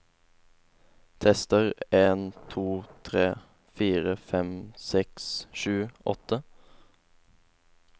Tester en to tre fire fem seks sju åtte